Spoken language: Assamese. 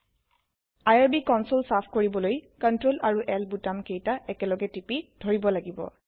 আইআৰবি কনচোল চাফ কৰিবলৈ চিআৰটিএল আৰু L বুটাম কেইতা একেলগে টিপি ধৰিব লাগিব